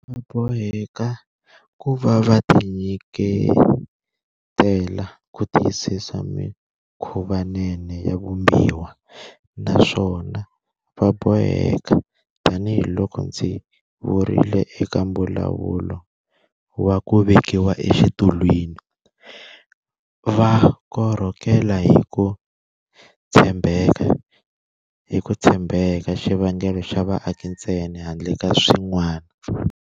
Va boheka ku va va tinyike tela ku tiyisisa mikhuvanene ya Vumbiwa, naswona va bo heka, tanihiloko ndzi vurile eka mbulavulo wa ku vekiwa exitulwini, va korhokela hi ku tshembeka xivangelo xa vaaki ntsena handle ka swin'wana.